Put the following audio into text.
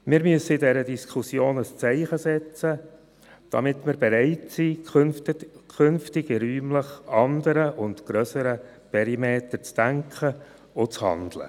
Wir müssen in dieser Diskussion ein Zeichen setzen, damit wir bereit sind, künftig räumlich in anderen und grösseren Perimetern zu denken und zu handeln.